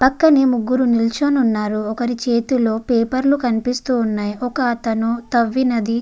పక్కనే ముగ్గురు నిల్చుని ఉన్నారు. ఒకరి చేతిలో పేపర్ లు కనిపిస్తూ ఉన్నాయి ఒకతను తవ్వినది --